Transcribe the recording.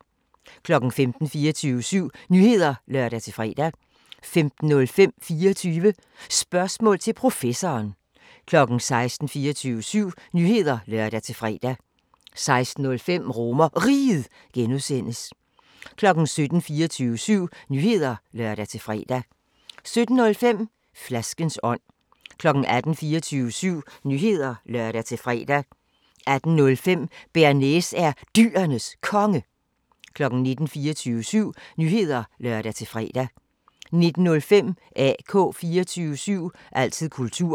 15:00: 24syv Nyheder (lør-fre) 15:05: 24 Spørgsmål til Professoren 16:00: 24syv Nyheder (lør-fre) 16:05: RomerRiget (G) 17:00: 24syv Nyheder (lør-fre) 17:05: Flaskens ånd 18:00: 24syv Nyheder (lør-fre) 18:05: Bearnaise er Dyrenes Konge 19:00: 24syv Nyheder (lør-fre) 19:05: AK 24syv – altid kultur